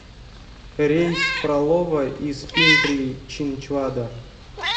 рейс в фролово из пимпри чинчвада